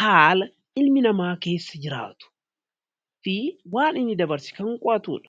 haala ilmi namaa keessa jiraatu fi waan inni dabarse kan qo'atuudha.